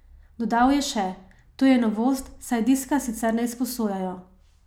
Dodal je še: "To je novost, saj diska sicer ne izposojajo.